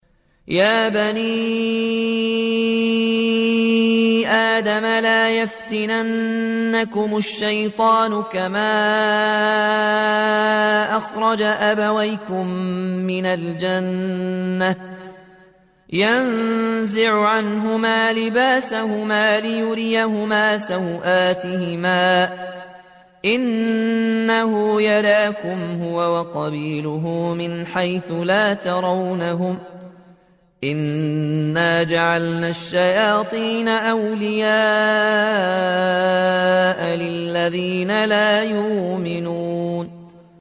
يَا بَنِي آدَمَ لَا يَفْتِنَنَّكُمُ الشَّيْطَانُ كَمَا أَخْرَجَ أَبَوَيْكُم مِّنَ الْجَنَّةِ يَنزِعُ عَنْهُمَا لِبَاسَهُمَا لِيُرِيَهُمَا سَوْآتِهِمَا ۗ إِنَّهُ يَرَاكُمْ هُوَ وَقَبِيلُهُ مِنْ حَيْثُ لَا تَرَوْنَهُمْ ۗ إِنَّا جَعَلْنَا الشَّيَاطِينَ أَوْلِيَاءَ لِلَّذِينَ لَا يُؤْمِنُونَ